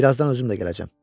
Birazdan özüm də gələcəm.